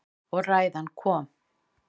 Og ræðan kom.